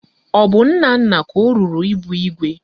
Ọ bụ Nnanna ka o ruru ịbụ igwe?